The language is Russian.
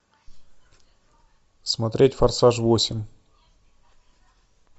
смотреть форсаж восемь